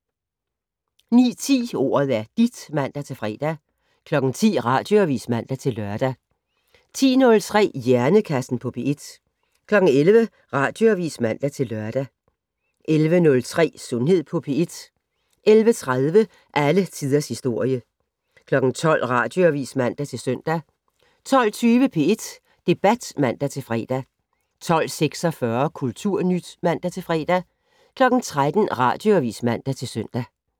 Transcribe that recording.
09:10: Ordet er dit (man-fre) 10:00: Radioavis (man-lør) 10:03: Hjernekassen på P1 11:00: Radioavis (man-lør) 11:03: Sundhed på P1 11:30: Alle tiders historie 12:00: Radioavis (man-søn) 12:20: P1 Debat (man-fre) 12:46: Kulturnyt (man-fre) 13:00: Radioavis (man-søn)